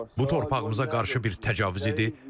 Bu torpağımıza qarşı bir təcavüz idi.